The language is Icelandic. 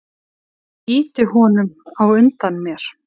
Ég ýti honum á undan mér.